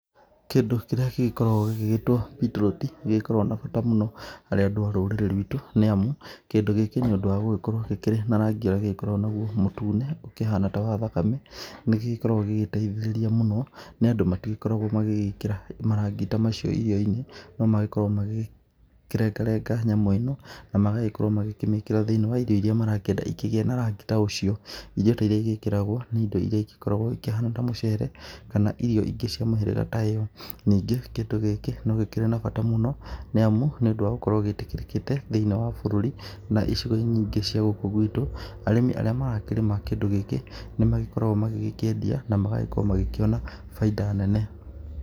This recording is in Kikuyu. Kindũ kĩrĩa gĩgĩkoragwo gĩgĩtwo beetroot nĩ gĩkoragwo na bata mũno harĩ andũ a rũrĩrĩ rwitũ, nĩ amu kĩndũ gĩkĩ nĩ ũndũ wa gũgĩkorwo gĩkĩrĩ na rangia ũrĩa gĩgĩkoragwo naguo mũtune ũkĩhana ta wa thakame. Nĩ gĩkoragwo gĩgĩteithĩrĩria mũno nĩ andũ magĩgĩkorwo magĩgĩkĩra marangi ta macio irio-inĩ. No magĩkoragwo makĩrengarenga nyamũ ĩno na magagĩkorwo makĩmĩkĩra thĩiniĩ wa irio irĩa marakĩenda ikĩgĩe na rangi ta ũcio. Irio ta irĩa igĩkĩragwo nĩ indo irĩa igĩkoragwo ikĩhana ta mũcere kana irio ingĩ cia mũhĩrĩga ta ũyũ. Ningĩ kĩndũ gĩkĩ no gĩkoragwo na bata mũno, nĩ amu, nĩ ũndũ wa gũkorwo gĩtikĩrĩkĩte thĩiniĩ wa bũrũri na icigo nyingĩ cia gũkũ gwitũ. Na arĩmi arĩa marakĩrĩma kĩndũ gĩkĩ, nĩ magĩkoragwo magĩgĩkĩendia na magagĩkorwo magĩkĩona bainda nene.